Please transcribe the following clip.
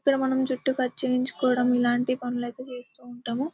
ఇక్కడ మనము జుట్టు కట్ చేయించుకోవడం ఇలాంటి పనులు అయితే చేస్తూ ఉంటాము.